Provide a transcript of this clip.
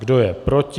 Kdo je proti?